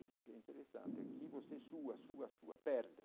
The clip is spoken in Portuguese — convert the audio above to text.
Isso que é interessante é que você sua, sua, sua perde.